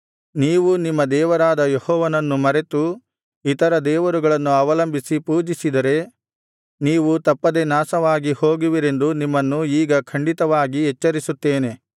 ನೀವು ನಿಮ್ಮ ದೇವರಾದ ಯೆಹೋವನನ್ನು ಮರೆತು ಇತರ ದೇವರುಗಳನ್ನು ಅವಲಂಬಿಸಿ ಪೂಜಿಸಿದರೆ ನೀವು ತಪ್ಪದೆ ನಾಶವಾಗಿ ಹೋಗುವಿರೆಂದು ನಿಮ್ಮನ್ನು ಈಗ ಖಂಡಿತವಾಗಿ ಎಚ್ಚರಿಸುತ್ತೇನೆ